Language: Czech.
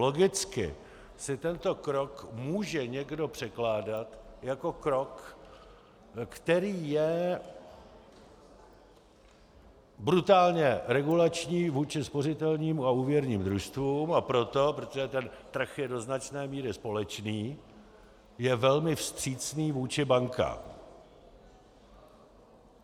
Logicky si tento krok může někdo překládat jako krok, který je brutálně regulační vůči spořitelní a úvěrním družstvům, a proto, protože ten trh je do značné míry společný, je velmi vstřícný vůči bankám.